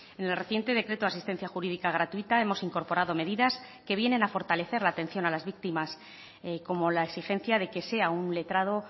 en el reciente decreto de asistencia jurídica gratuita hemos incorporado medidas que vienen a fortalecer la atención a las víctimas como la exigencia de que sea un letrado